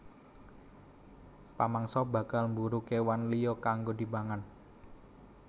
Pamangsa bakal mburu kéwan liya kanggo dipangan